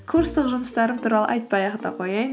курстық жұмыстарым туралы айтпай ақ та қояйын